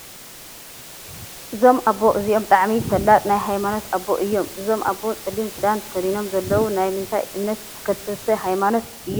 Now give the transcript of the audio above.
እዞም ኣቦ እዚኦም ብጣዕሚ ፈላጥ ናይ ሃይማኖት ኣቦ እዮም ። እዞም ኣቦ ፀሊም ክዳን ተከዲኖም ዘለዉ ናይ ምንታይ እምነት ተከተልቲ ሃይማኖት እዮም ?